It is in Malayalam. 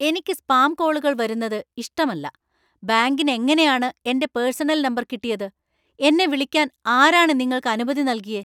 എനിക്ക് സ്പാം കോളുകൾ വരുന്നത് ഇഷ്ടമല്ല . ബാങ്കിന് എങ്ങനെയാണ് എന്‍റെ പേഴ്സണൽ നമ്പർ കിട്ടിയത്, എന്നെ വിളിക്കാൻ ആരാണ് നിങ്ങൾക്ക് അനുമതി നൽകിയേ ?